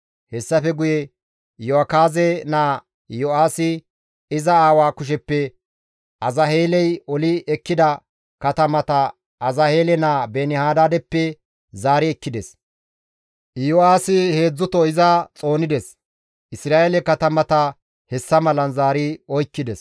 Hessafe guye Iyo7akaaze naa Yo7aasi, iza aawaa kusheppe Azaheeley oli ekkida katamata Azaheele naa Beeni-Hadaadeppe zaari ekkides; Iyo7aasi heedzdzuto iza xoonides; Isra7eele katamata hessa malan zaari oykkides.